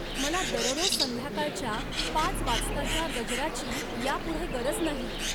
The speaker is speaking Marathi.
मला दररोज संध्याकाळच्या पाच वाजताच्या गजराची यापुढे गरज नाही.